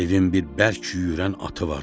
Devin bir bərk yüyürən atı var.